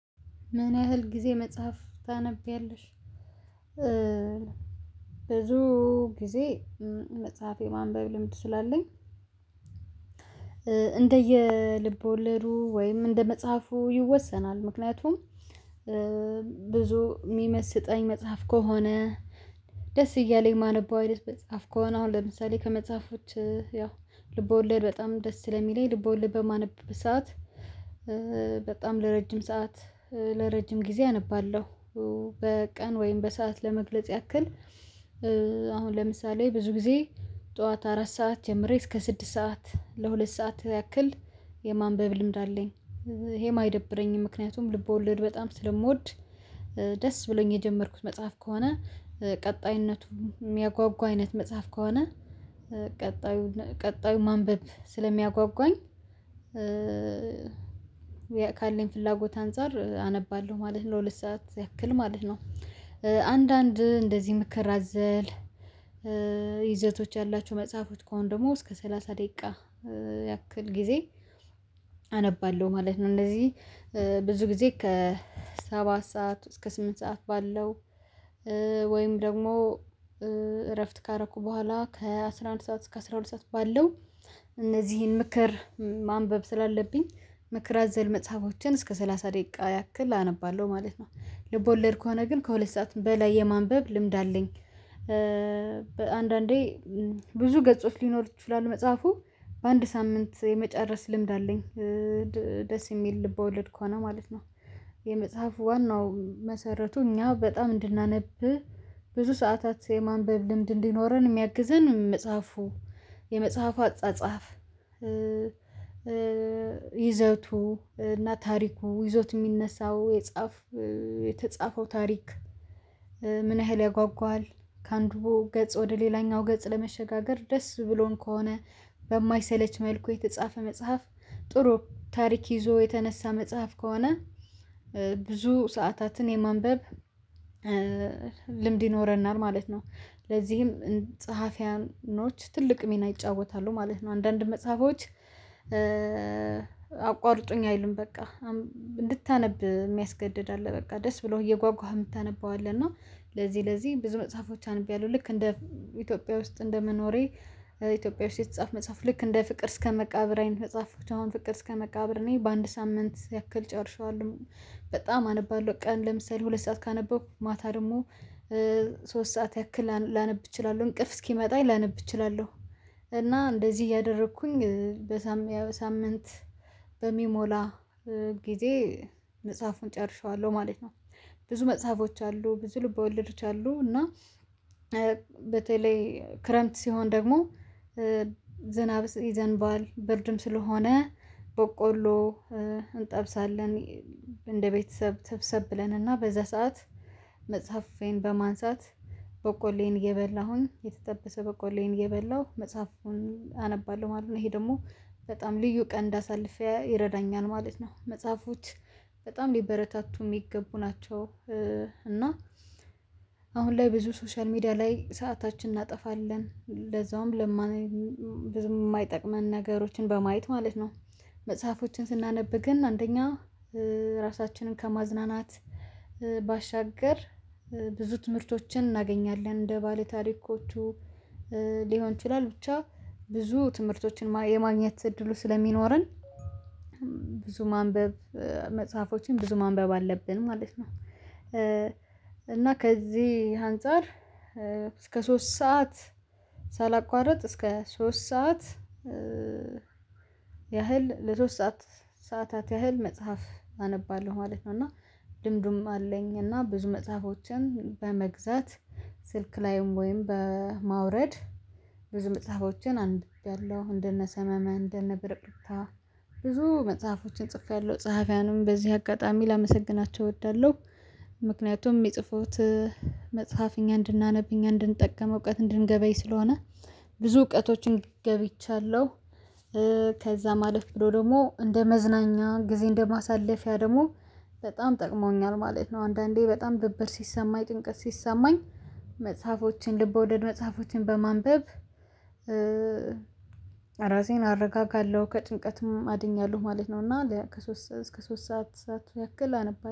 ምን ያህል ጊዜ መጽሐፍ ታነቢያለሽ? ብዙ ጊዜ መጽሐፍ የማንበብ ልምድ ስላለኝ እንደየልብ ወለዱ ወይም እንደ መጽሐፉ ይወሰናል። ምክንያቱም ብዙ የሚመስጠኝ መጽሐፍ ከሆነ ደስ እያለኝ ማነበው አይነት መጽሐፍ ከሆነ አሁን ለምሳሌ ከመጽሐፎች ያው ልቦለድ በጣም ደስ ሰለሚለኝ ልቦለድ በማነብበት ሰዓት። በጣም ለረጅም ሰዓት ለረጅም ጊዜ አነባለሁ። በቀን ወይም በሰአት ለመግለጽ ያክል። አሁን ለምሳሌ ብዙ ጊዜ ጠዋት አራት ሰዓት ጀምሬ እስከ ስድስት ሰዓት ለሁለት ሰዓት ያክል የማንበብ ልምድ አለኝ። ይሄ አይደብረኝም ምክንያቱም ልብ ወለድ በጣም ስለምወድ። ደስ ብሎኝ የጀመርኩት መጽሐፍ ከሆነ ቀጣይነቱ የሚያጓጉ አይነት መጽሐፍ ከሆነ ቀጣዩ ቀጣዩ ማንበብ ስለሚያጓጓኝ። ካለኝ ፍላጎት አንፃር አነባለሁ ማለት ለሁለት ሰዓት ያክል ማለት ነው። አንዳንድ እንደዚህ ምክር አዘል ይዘቶች ያላቸው መጽሐፎች ከሆነ ደግሞ እስከ ሰላሳ ደቂቃ ያክል ጊዜ አነባለሁ ማለት ነው። እነዚህ ብዙ ጊዜ ከሰባት ሰዓት እስከ ስምንት ሰዓት ባለው ወይም ደግሞ እረፍት ካረኩ በኋላ ከአስራ አንድ ሰዓት እስከ አስራ ሁለት ሰዓት ባለው እነዚህን ምክር ማንበብ ስላለብኝ ምክር አዘል መጽሐፎችን እስከ ሰላሳ ደቂቃ ያክል አነባለሁ ማለት ነው። ልቦለድ ከሆነ ግን ከሁለት ሰዓት በላይ የማንበብ ልምድ አለኝ። በአንዳንዴ ብዙ ገጾች ሊኖር ይችላል መጽሐፉ በአንድ ሳምንት የመጨረስ ልምድ አለኝ። ደስ የሚል ልብ ውለድ ከሆነ ማለት ነው። የመጽሐፉ ዋናው መሰረቱ እኛ በጣም እንድናነብ ብዙ ሰዓታት የማንበብ ልምድ እንዲኖረን የሚያግዘን መጽሐፉ የመጽሐፉ አጻጻፍ። ይዘውቱ እና ታሪኩ ይዞት የሚነሳው የጻፈው የተጻፈው ታሪክ። ምን ያህል ያጓጓል ከአንዱ ገጽ ወደ ሌላኛው ገጽ ለመሸጋገር ደስ ብሎን ከሆነ በማይሰለች መልኩ የተጻፈ መጽሐፍ። ጥሩ ታሪክ ይዞ የተነሳ መጽሐፍ ከሆነ ብዙ ሰዓታትን የማንበብ ልምድ ይኖረናል ማለት ነው። ለዚህም ጸሐፊያኖች ትልቅ ሚና ይጫወታሉ ማለት ነው። አንዳንድ መጽሐፎች አቋርጡኝ አይሉም በቃ እንድታነብ የሚያስገድድ አለ በቃ ደስ ብሎህ እየጓጓህ የምታነበው አለ። እና ለዚህ ለዚህ ብዙ መጽሐፎች አንብቤያለሁ ልክ እንደ ኢትዮጵያ ውስጥ እንደመኖሬ ኢትዮጵያ ውስጥ የተጻፈ መጽሐፍ ልክ እንደ ፍቅር እስከመቃብር አይነት መጽሐፎች አሁን ፍቅር እስከ መቃብር እኔ በአንድ ሳምንት ያክል ጨርሼዋለሁ። በጣም አነባለሁ ቀን ለምሳሌ ሁለት ሰዓት ካነበኩ ማታ ደግሞ ሶስት ሰዓት ያክል ላነብ እችላለሁ እንቅልፍ እስኪመጣ ላነብ እችላለሁ። እና እንደዚህ እያደረኩኝ በሳምንት በሚሞላ ጊዜ መጽሐፉን ጨርሼዋለሁ ማለት ነው። ብዙ መጽሐፎች አሉ ብዙ ልብ ወለዶች አሉ። እና በተለይ ክረምት ሲሆን ደግሞ ዝናብ ይዘንባል ብርድም ስለሆነ በቆሎ እንጠብሳለን። እንደ ቤተሰብ ሰብሰብ ብለንና በዛ ሰዓት መጽሐፌን በማንሳት በቆሎዬን እየበላሁኝ የተጠበሰ በቆሎዬን እየበላሁ መጽሐፉን አነባለሁ ማለት ነው። ይሄ ደግሞ በጣም ልዩ ቀን እንዳሳልፍ ይረዳኛል ማለት ነው። መጽሐፎች በጣም ሊበረታቱ የሚገቡ ናቸው። እና አሁን ላይ ብዙ ሶሻል ሚዲያ ላይ ሰአታችንን እናጠፋለን ለዛውም ለማን ብዙም የማይጠቅመን ነገሮችን በማየት ማለት ነው። መጽሐፎችን ስናነብ ግን አንደኛ ራሳችንን ከማዝናናት ባሻገር ብዙ ትምህርቶችን እናገኛለን እንደ ባለታሪኮቹ ሊሆን ይችላል ብቻ ብዙ ትምህርቶችን የማግኘት እድሉ ስለሚኖረን። ብዙ ማንበብ መጽሐፎችን ብዙ ማንበብ አለብን ማለት ነው። እና ከዚህ አንፃር እስከ ሶስት ሰዓት ሳላቋርጥ እስከ ሶስት ሰዓት ያህል ለሶስት ሰዓት ሰዓታት ያህል መጽሐፍ አነባለሁ ማለት ነው። እና ልምድም አለኝ እና ብዙ መጽሐፎችን በመግዛት ስልክ ላይም ወይም በማውረድ ብዙ መጽሐፎችን አንብቤያለው። እንደነ ሰመመን እንደነ ብርቅርቅታ ብዙ መጽሐፎችን ጽፌያለሁ ጸሐፊያኑም በዚህ አጋጣሚ ላመሰግናቸው እወዳለሁ። ምክንያቱም የሚጽፉት መጽሐፍ እኛ እንድናነብ እኛ እንድንጠቀም እውቀት እንድንገበይ ስለሆነ ብዙ እውቀቶችን ገይብቻለሁ። ከዛ ማለፍ ብሎ ደግሞ እንደ መዝናኛ ጊዜ እንደ ማሳለፊያ ደግሞ በጣም ጠቅሞኛል ማለት ነው። አንዳንዴ በጣም ድብርት ሲሰማኝ ጭንቀት ሲሰማኝ መጽሐፎችን ልብ ወለድ መጽሐፎችን በማንበብ እራሴን አረጋጋለሁ ከጭንቀትም አድኛለሁ ማለት ነው። እና ከሶስት እስከ ሶስት ሰዓት ያክል አነባለሁ